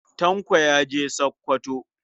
Tanko ya je Sakkwato.